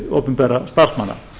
opinberra starfsmanna